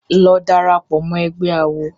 Lọ darapọ̀ mọ́ ẹgbé awo!